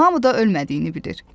Hamı da ölmədiyini bilir.